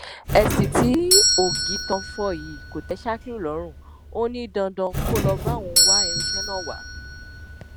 èsì tí ọgìtàn fọ yìí kò tẹ shakiru lọrùn ó ní dandan kó lọọ bá òun wá irinṣẹ náà wá